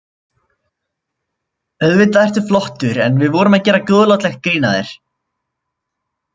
Auðvitað ertu flottur, en við vorum að gera góðlátlegt grín að þér.